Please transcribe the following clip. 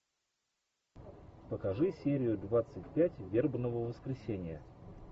покажи серию двадцать пять вербного воскресенья